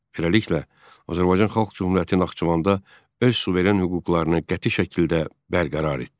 Beləliklə, Azərbaycan Xalq Cümhuriyyəti Naxçıvanda öz suveren hüquqlarını qəti şəkildə bərqərar etdi.